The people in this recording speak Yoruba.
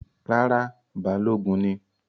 Rárá, Balogun ni